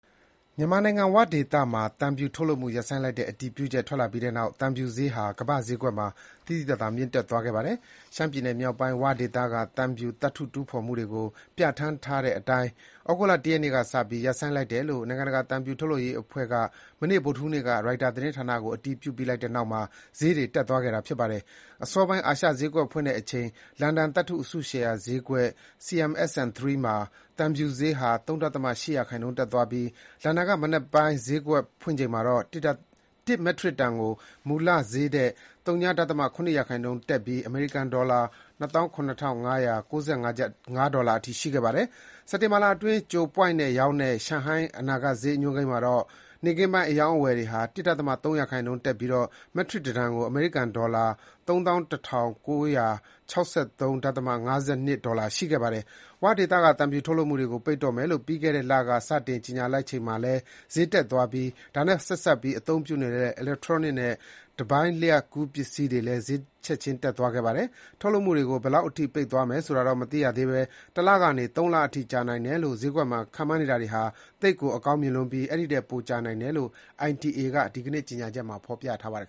မြန်မာနိုင်ငံ ၀ဒေသမှာ သံဖြူထုတ်လုပ်မှု ရပ်ဆိုင်းလိုက်တဲ့ အတည်ပြုချက် ထွက်လာပြီးနောက်၊ သံဖြူဈေးဟာ ကမ္ဘာ့ဈေးကွက်မှာ သိသိသာသာ မြင့်တက် သွားခဲ့ပါတယ်။ ရှမ်းပြည်နယ်မြောက်ပိုင်း ဝဒေသက သံဖြူ သတ္တုတူးဖော်မှုတွေကို ပြဌာန်းထားတဲ့ထားတဲ့အတိုင်း သြဂုတ်လ ၁ ရက်နေ့က စပြီး ရပ်ဆိုင်းလိုက်တယ်လို့ နိုင်ငံတကာသံဖြူ ထုတ်လုပ်ရေးအဖွဲ့က မနေ့ဗုဒ္ဓဟူးနေ့က ရိုက်တာသတင်းဌာနကို အတည်ပြုလိုက်ပြီးတဲ့နောက် ဈေးတွေ တက်သွားတာဖြစ်ပါတယ်။ အစောပိုင်း အာရှဈေးကွက်ဖွင့်တဲ့အချိန် လန်ဒန်သတ္တုအစုရှယ်ယာဈေးကွက် CMSN3 မှာ သံဖြူဈေးဟာ ၃.၈ % တက်သွားပြီး၊ လန်ဒန်က မနက်ပိုင်းဈေးကွက်ဖွင့်ချိန်မှာတော့ ၁ မက်ထရစ်တန်ကို မူလဈေးထက် ဝ.၇% တက်ပြီး အမေရိကန်ဒေါ်လာ ၂၇၅၉၅ အထိ ရှိခဲ့ပါတယ်။ စက်တင်ဘာလအတွက် ကြိုပွိုင့်နဲ့ ရောင်းတဲ့ ရှန်ဟိုင်းအနာဂတ်ဈေးညွှန်းမှာတော့ ၊ နေ့ခင်ပိုင်းအရောင်းအဝယ်တွေက ၁.၃ % တက်ပြီး၊ မက်ထရစ်တန် ၁ တန်ကို အမေရိကန်ဒေါ်လာ ၃၁ ၉၆၃.၅၂ ဒေါ်လာ ရှိခဲ့ပါတယ်။ ဝဒေသက သံဖြူထုတ်လုပ်မှုတွေကို ပိတ်တော့မယ်လို့ ပြီးခဲ့တဲ့လက စတင်ကြေညာလိုက်ချိန်မှာလည်း ဈေးတွေတက်သွားပြီး၊ ဒါနဲ့ ဆက်စပ်ပြီး အသုံးပြုနေတဲ့ အီလက်ထရောနစ်နဲ့ တပိုင်းလျှပ်ကူးပစ္စည်းတွေလည်း ဈေးတွေချက်ချင်းတက်သွားခဲ့ပါတယ်။ ထုတ်လုပ်မှုတွေကို ဘယ်လောက်အထိ ပိတ်သွားမယ်ဆိုတာတော့ မသိရသေးပဲ၊ ၁လကနေ ၃ လအထိကြာနိုင်တယ်လို့ ဈေးကွက်မှာခန့်မှန်းနေတာတွေဟာ သိပ်ကိုအကောင်းမြင်လွန်းပြီး၊ အဲဒီထက်လည်း ပိုကြာနိုင်တယ်လို့ ITA က ဒီနေ့ ကြေညာချက်မှာ ပြောထားပါတယ်